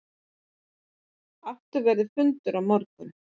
Aftur verður fundur á morgun.